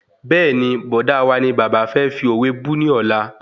Bẹ́ẹ̀ni, Bọ̀dá wa ni bàbá fẹ́ fi òwe bú ni ọ̀la